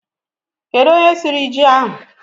kedu onye siri ji ahụ?